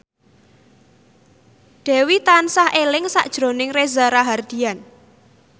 Dewi tansah eling sakjroning Reza Rahardian